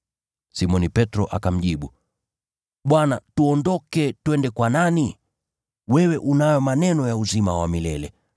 Simoni Petro akamjibu, “Bwana, tuondoke twende kwa nani? Wewe unayo maneno ya uzima wa milele.